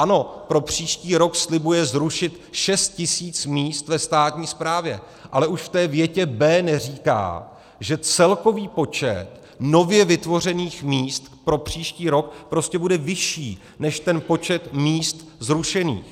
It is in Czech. Ano, pro příští rok slibuje zrušit 6 tis. míst ve státní správě, ale už v té větě b) neříká, že celkový počet nově vytvořených míst pro příští rok prostě bude vyšší než ten počet míst zrušených.